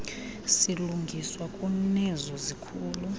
silungiswa kunezo zikhulu